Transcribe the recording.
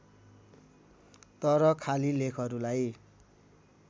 तर खाली लेखहरूलाई